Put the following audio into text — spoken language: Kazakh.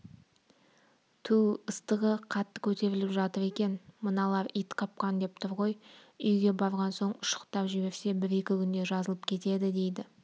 тү-у ыстығы қатты көтеріліп жатыр екен мыналар ит қапқан деп тұр ғой үйге барған соң ұшықтап жіберсе бір-екі күнде жазылып кетеді дейді